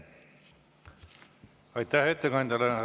Aitäh ettekandjale!